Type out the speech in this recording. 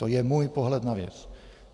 To je můj pohled na věc.